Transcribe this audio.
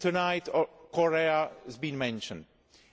Tonight, Korea has been mentioned.